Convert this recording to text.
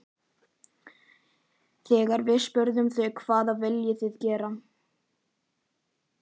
Þegar við spurðum þau hvað viljið þið gera?